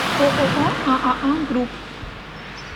ооо ааа групп